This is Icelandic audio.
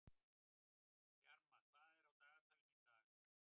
Bjarma, hvað er á dagatalinu í dag?